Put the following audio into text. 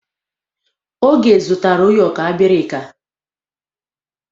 Oge zụtara ụyọkọ abirika.